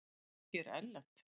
Fólkið er erlent.